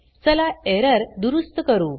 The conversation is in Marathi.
चला एरर दुरुस्त करू